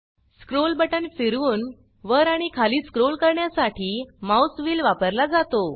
scroll button फिरवून वर आणि खाली स्क्रोल करण्यासाठी माउस व्हील वापरला जातो